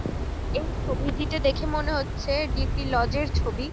এই ছবিটিতে দেখে মনে হচ্ছে এটি একটি লজে -এর ছবি।